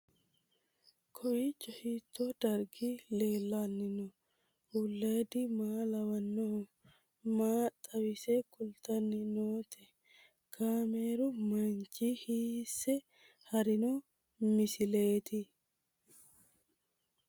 Kowiicho hiito dargi leellanni no ? ulayidi maa lawannoho ? maa xawisse kultanni noote ? kaameru manchi hiisse haarino misileeti?